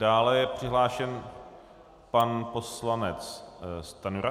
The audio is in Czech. Dále je přihlášen pan poslanec Stanjura.